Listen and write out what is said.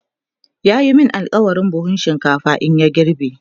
ya min alkawalin buhun shinkafa in ya girbe